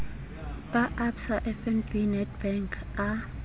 a absa fnb nedbank a